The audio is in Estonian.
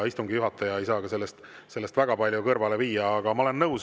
Istungi juhataja ei saa sellest väga palju kõrvale.